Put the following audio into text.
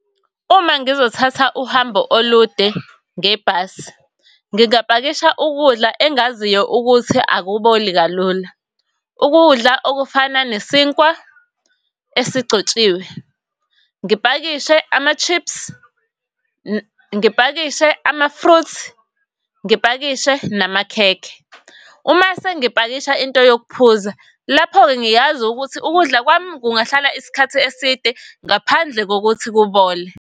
Uma ngizothatha uhambo olude ngebhasi, ngingapakisha ukudla engaziyo ukuthi akuboli kalula. Ukudla okufana nesinkwa esigcotshiwe, ngipakishe ama-chips, ngipakishe ama-fruits, ngipakishe namakhekhe. Uma sengipakisha into yokuphuza lapho-ke ngiyazi ukuthi ukudla kwami kungahlala isikhathi eside ngaphandle kokuthi kubole.